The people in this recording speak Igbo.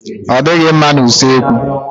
Ọ dịghị mma na usekwu.